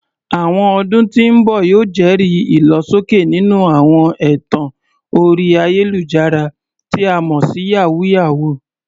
Àwọn ọdún tí ń bọ̀ yóò jẹ́rìí ìlọsókè nínú àwọn ẹ̀tàn orí ayélujára, tí a mọ̀ sí "yàwúyáwù ."